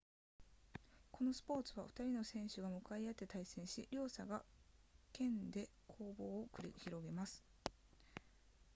このスポーツは2人の選手が向かい合って対戦し両者が剣で攻防を繰り広げます